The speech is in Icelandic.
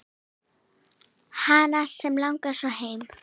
Hana sem langaði svo heim.